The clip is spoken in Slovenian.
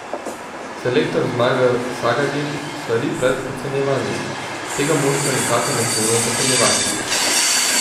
Selektor Zmago Sagadin svari pred podcenjevanjem: "Tega moštva nikakor ne smemo podcenjevati.